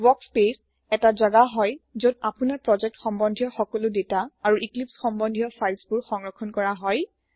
workspace এটা জেগা হয় যত আপোনাৰ প্ৰজেক্ট সম্বন্ধিয় সকলো দেটা আৰু ইক্লিপ্চ সম্বন্ধিয় ফাইল বোৰ সংৰক্ষণ কৰা হয়